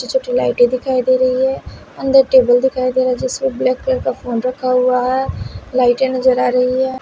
छोटी लाइटें दिखाई दे रही है अंदर टेबल दिखाई दे रहा है जिसमें ब्लैक कलर का फोन रखा हुआ है लाइटें नजर आ रही है।